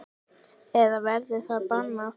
Eða verður það bannað?